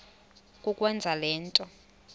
kukwenza le nto